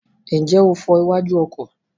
Ǹjẹ́ o fọ iwájú ọkọ̀?